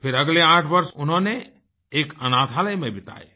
फिर अगले 8 वर्ष उन्होंने एक अनाथालय में बिताये